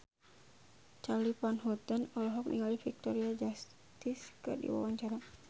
Charly Van Houten olohok ningali Victoria Justice keur diwawancara